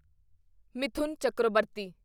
Mithun Chakraborty